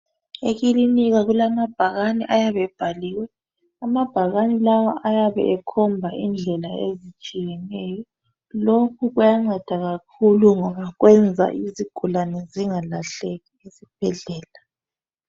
Ekilinika kulamabhakane ayabe ebhaliwe. Amabhakane lawa ayabe ekhomba indawo ezitshiyeneyo. Lokhu kuyanceda kakhulu ngoba kwenza izigulane zingalahleki esibhedlela.